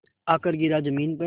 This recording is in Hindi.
आकर गिरा ज़मीन पर